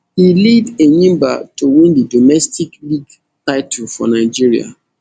e lead enyimba to win di domestic league title for nigeria